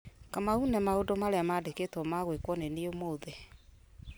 kamau ne maũndũ marĩa mandĩkĩtwo ma gwĩkwo nĩniĩ ũmũthĩ